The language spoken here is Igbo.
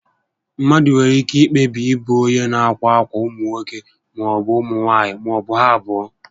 Mmadụ nwere ike kpebie ịbụ onyé nà akwa ákwà ụmụ nwoke maọbụ ụmụ nwaanyị maọbụ ha abụọ